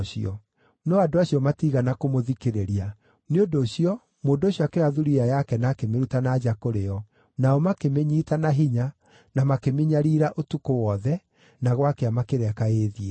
No andũ acio matiigana kũmũthikĩrĩria. Nĩ ũndũ ũcio, mũndũ ũcio akĩoya thuriya yake na akĩmĩruta na nja kũrĩ o, nao makĩmĩnyiita na hinya na makĩmĩnyariira ũtukũ wothe, na gwakĩa makĩreka ĩĩthiĩre.